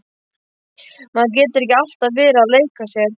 Maður getur ekki alltaf verið að leika sér.